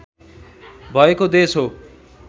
भएको देश हो